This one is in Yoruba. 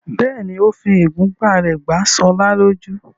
bẹ́ẹ̀ni, ó fi ìgúnpá rẹ̀ gbá Ṣọlá lójú.